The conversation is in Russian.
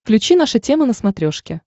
включи наша тема на смотрешке